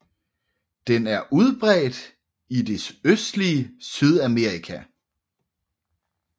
Den er udbredt i det østlige Sydamerika